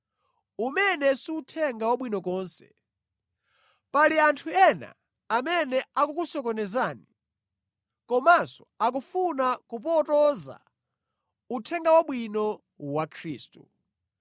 umene si Uthenga Wabwino konse. Pali anthu ena amene akukusokonezani komanso akufuna kupotoza Uthenga Wabwino wa Khristu.